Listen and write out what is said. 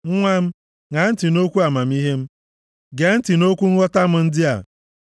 Nwa m, ṅaa ntị nʼokwu amamihe m, gee ntị nʼokwu nghọta m ndị a.